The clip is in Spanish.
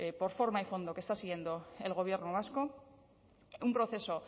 por forma y fondo que está siguiendo el gobierno vasco un proceso